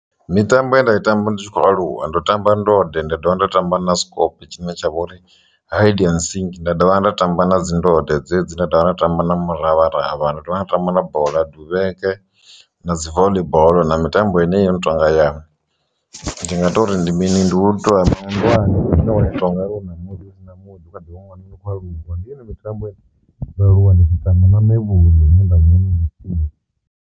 Mitambo ye nda i tamba ndi tshi khou aluwa ndo tamba ndode nda dovha nda tamba na sikope tshine tsha vhori hide and sick nda dovha nda tamba na dzi ndode dzedzi nda dovha nda tamba na muravharavha nda dovha nda tamba na bola duvheke na dzi voḽi boḽo na mitambo ine yo no tonga ya. Ndi nga tori ndi mini ndi u ṱuwa mandiwana n one to ngauri hu na murunzi na muḓi kha ḓi ṅwana ndi khou aluwa ndi yone mitambo ine ndo aluwa ndi tshi tamba na mevhuḽu.